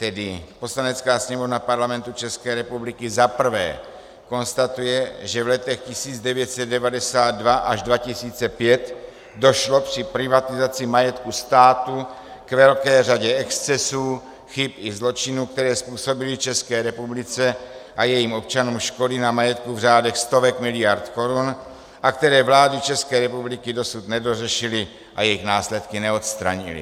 Tedy: Poslanecká sněmovna Parlamentu České republiky za prvé konstatuje, že v letech 1992 až 2005 došlo při privatizaci majetku státu k velké řadě excesů, chyb i zločinů, které způsobily České republice a jejím občanům škody na majetku v řádech stovek miliard korun a které vlády České republiky dosud nedořešily a jejich následky neodstranily.